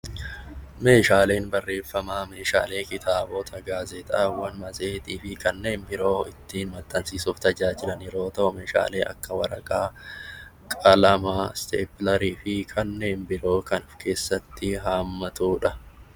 Meeshaaleen bareeffamaa meeshaalee kitaabota, gaazexaawwan, matseetii fi kanneen biroo ittiin maxxansiisuuf tajaajilan yeroo ta'u, meeshaalee akka waraqaa, qalamaa, isteeppilerii fi kanneen biroo kan of keessatti haammatudha.